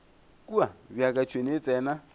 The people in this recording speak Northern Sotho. kua bjaka tšhwene e tsena